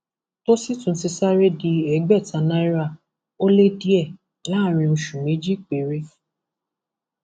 tó sì tún ti sáré di ẹgbẹta náírà ó lé díẹ láàrin oṣù méjì péré